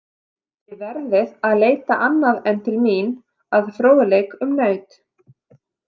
Þið verðið að leita annað en til mín að fróðleik um naut.